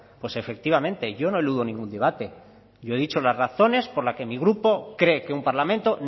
pues efectivamente yo no eludo ningún debate yo he dicho las razones por las que mi grupo cree que un parlamento